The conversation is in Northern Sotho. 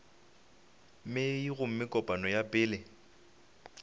mei gomme kopano ya pele